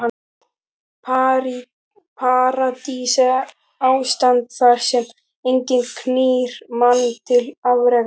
Paradís er ástand þar sem enginn knýr mann til afreka.